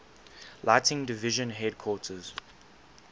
lighting division headquarters